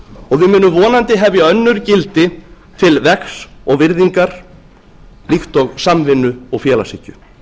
og við munum vonandi hefja önnur gildi til vegs og virðingar líkt og samvinnu og félagshyggju